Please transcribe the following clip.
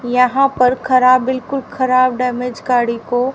यहां पर खराब बिल्कुल खराब डैमेज गाड़ी को--